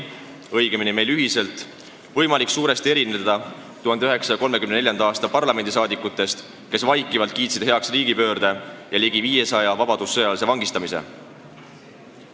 Siiski on meil ühiselt võimalik suuresti erineda 1934. aasta parlamendisaadikutest, kes vaikivalt kiitsid heaks riigipöörde ja ligi 500 vabadussõjalase vangistamise.